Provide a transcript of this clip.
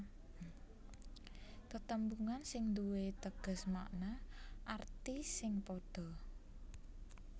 Tetembungan sing duwé teges makna arti sing padha